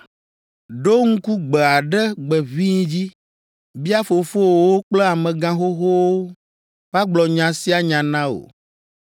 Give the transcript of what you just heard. Ɖo ŋku gbe aɖe gbe ʋĩi dzi! Bia fofowòwo kple amegãxoxowo, woagblɔ nya sia nya na wò.